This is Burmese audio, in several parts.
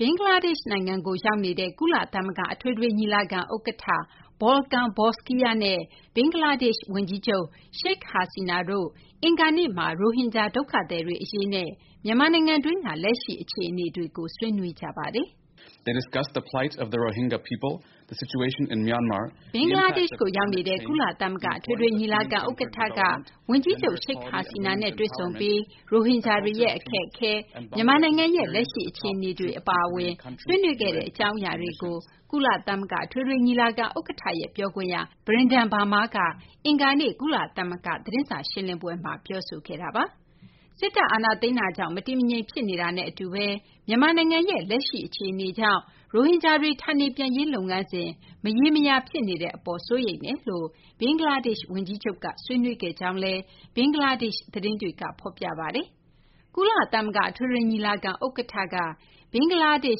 ဘင်္ဂလားဒေရှ့် နိုင်ငံကို ရောက်နေတဲ့ ကုလသမဂ္ဂ အထွေထွေညီလာခံ ဥက္ကဌ Volkan Bozkir နဲ့ ဘင်္ဂလားဒေရှ့် ဝန်ကြီးချုပ် Sheikh Hasina တို့ အင်္ဂါနေ့မှာ ရိုဟင်ဂျာ ဒုက္ခသည်တွေ အရေး နဲ့ မြန်မာနိုင်ငံတွင်း လက်ရှိ အခြေအနေတွေကို ဆွေးနွေးခဲ့ကြပါတယ်။ ဘင်္ဂလားဒေ့ရှ်ကို ရောက်နေတဲ့ ကုလသမဂ္ဂ အထွေထွေ ညီလာခံ ဥက္ကဌက ဘင်္ဂလားဒေရှ့် ဝန်ကြီးချုပ် Sheikh Hasina နဲ့ တွေ့ဆုံပြီး ရိုဟင်ဂျာတွေရဲ့ အခက်အခဲ၊ မြန်မာနိုင်ငံရဲ့ လက်ရှိ အခြေအနေတွေ အပါအဝင် ဆွေးနွေးခဲ့တဲ့ အကြောင်းအရာတွေကို ကုလသမဂ္ဂ အထွေထွေ ညီလာခံ ဥက္ကဌရဲ့ ပြောခွင့်ရ Brenden Varma က အင်္ဂါနေ့ ကုလသမဂ္ဂ သတင်းစာ ရှင်းလင်းပွဲမှာ ပြောဆိုခဲ့တာပါ။ စစ်တပ် အာဏာသိမ်းတာကြောင့် မတည်မငြိမ် ဖြစ်နေတာနဲ့ အတူဘဲ မြန်မာနိုင်ငံရဲ့ လက်ရှိ အခြေအနေကြောင့် ရိုဟင်ဂျာတွေ ဌာနေပြန်ရေး လုပ်ငန်းစဉ် မရေမရာဖြစ်နေတဲ့ အပေါ် စိုးရိမ်ကြောင်း ဘင်္ဂလားဒေရှ့် ဝန်ကြီးချုပ် Sheikh Hasian က ဆွေးနွေးခဲ့တယ်လို့လည်း ဘင်္ဂလားဒေရှ့် သတင်းတွေက ဖော်ပြကြပါတယ်။ ကုလသမဂ္ဂ အထွေထွေ ညီလာခံ ဥက္ကဌက ဘင်္ဂလားဒေ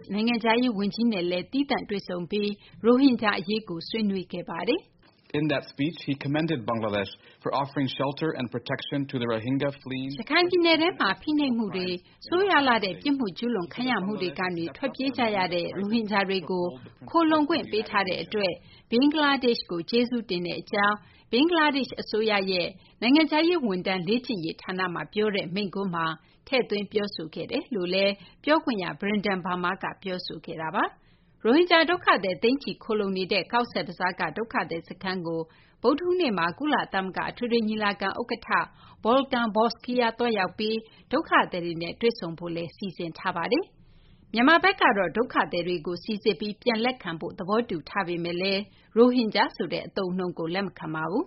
ရှ့် နိုင်ငံခြားရေး ဝန်ကြီးနဲ့လည်း သီးသန့် တွေ့ဆုံပြီး ရိုဟင်ဂျာ အရေးကို ဆွေးနွေးခဲ့ပါတယ်။ "ရခိုင်ပြည်နယ်ထဲမှာ ဖိနှိပ်မှုတွေ၊ ဆိုးရွားလှတဲ့ ပြစ်မှုကျူးလွန်ခံရမှုတွေကနေ ထွက်ပြေးလာကြတဲ့ ရိုဟင်ဂျာတွေကို ခိုလှုံခွင့်ပေးထားတဲ့ အတွက် ဘင်္ဂလားဒေရှ့်ကို ကျေးဇူးတင်ကြောင်းလည်း ဘင်္ဂလားဒေရှ့် အစိုးရရဲ့ နိုင်ငံခြားရေး ဝန်ထမ်း လေ့ကျင့်ရေး ဌာနမှာ ပြောတဲ့ မိန့်ခွန်းမှာ ထည့်သွင်း ပြောဆိုခဲ့ကြောင်း" ပြောခွင့်ရ Brenden Varma က ပြောဆိုခဲ့တာပါ။ ရိုဟင်ဂျာ ဒုက္ခသည် သိန်းချီ ခိုလှုံနေတဲ့ ကောဇ့်ဘဇားက ဒုက္ခသည် စခန်းကို ဗုဒ္ဓဟူးနေ့မှာ ကုလသမဂ္ဂ အထွေထွေ ညီလာခံ ဥက္ကဌ Volkan Bozkir သွားရောက်ပြီး ဒုက္ခသည်တွေနဲ့ တွေ့ဆုံဖို့လည်း စီစဉ်ထားပါတယ်။ မြန်မာဘက်ကတော့ ဒုက္ခသည်တွေကို စိစစ်ပြီး ပြန်လည်လက်ခံဖု့ိ သဘောတူထားပေမယ့်လည်း ရိုဟင်ဂျာဆိုတဲ့ အသုံးအနှုန်းကို လက်မခံပါဘူး။